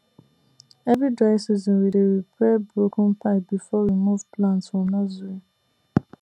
every dry season we dey repair broken pipe before we move plant from nursery